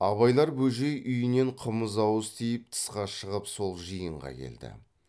абайлар бөжей үйінен қымыз ауыз тиіп тысқа шығып сол жиынға келді